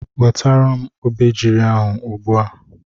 Wetara m obejiri ahụ ugbu a!